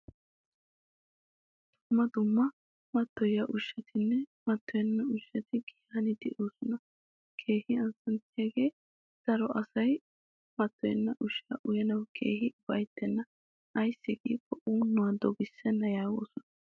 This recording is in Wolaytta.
Dumma dumma mattoyiya ushshattine matoyenna ushshati giyan de'osona keehin azanttiyage daro asay matoyenna ushshaa uyanawu keehin ufayttena. Ayssi gikko un'uwaa doggisena yaagosona.